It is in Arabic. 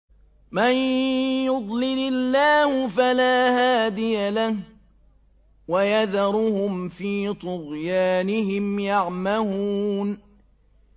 مَن يُضْلِلِ اللَّهُ فَلَا هَادِيَ لَهُ ۚ وَيَذَرُهُمْ فِي طُغْيَانِهِمْ يَعْمَهُونَ